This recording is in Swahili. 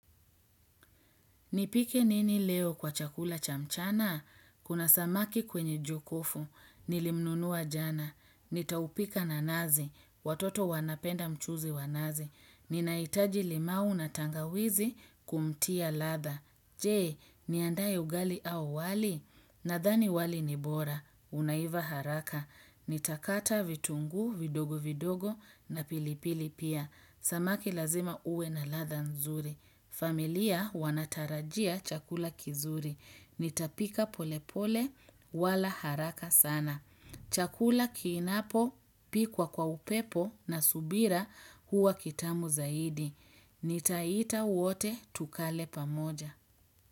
Nipike nini leo kwa chakula chamchana? Kuna samaki kwenye jokofu. Nilimnunuwa jana. Nitaupika na nazi. Watoto wanapenda mchuuzi wa nazi. Ninaitaji limau na tangawizi kumtia ladha. Jee, niandae ugali au wali? Nadhani wali ni bora. Unaiva haraka. Nitakata vitunguu, vidogo vidogo na pilipili pia. Samaki lazima uwe na ladha nzuri. Familia wanatarajia chakula kizuri. Nitapika pole pole wala haraka sana. Chakula kinapo pikwa kwa upepo na subira huwa kitamu zaidi. Nitaita wote tukale pamoja.